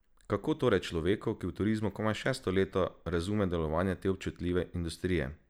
Kako torej človek, ki je v turizmu komaj šesto leto, razume delovanje te občutljive industrije?